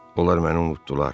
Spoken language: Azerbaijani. Onlar məni unutdular.